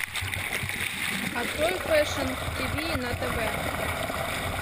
открой фэшн тиви на тв